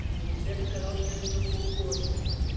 и света сказала что это за полгода